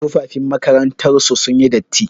Tufafin makarantar su sun yi datti.